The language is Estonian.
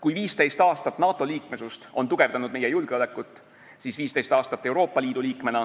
Kui 15 aastat NATO liikmesust on tugevdanud meie julgeolekut, siis 15 aastat Euroopa Liidu liikmena